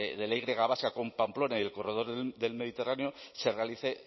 de la y vasca con pamplona y el corredor del mediterráneo se realice